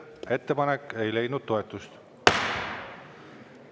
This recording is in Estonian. Ettepanek ei leidnud toetust.